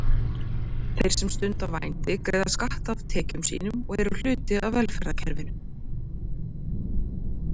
Þeir sem stunda vændi greiða skatta af tekjum sínum og eru hluti af velferðarkerfinu.